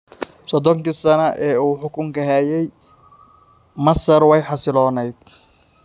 Soddonkii sano ee uu xukunka hayay, Masar way xasiloonayd.